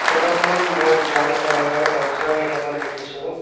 Photo খনত মই brown কালাৰৰ দৰ্জা কেইটামান দেখিছোঁ।